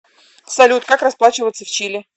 салют как расплачиваться в чили